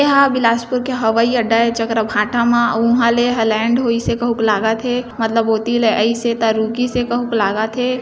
एहा बिलासपुर के हवाई अड्डा ए जकर भाटा मा उहा ले इहा लेंड होइ से कहुंक लागत हे लागत हे मतलब ओती ले आइसे त रुकिसे कहुंक लागत हे।